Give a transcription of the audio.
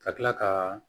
Ka tila ka